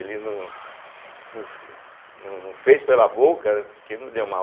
Ele não não fe não não fez pela boca, porque não deu mal. Mas